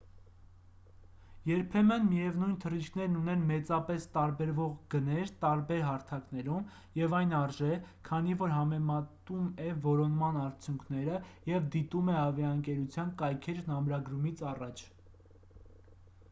երբեմն միևնույն թռիչքներն ունեն մեծապես տարբերվող գներ տարբեր հարթակներում և այն արժե քանի որ համեմատում է որոնման արդյունքները և դիտում է ավիաընկերության կայքէջն ամրագրումից առաջ